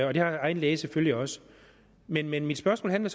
og det har egen læge selvfølgelig også men men mit spørgsmål handler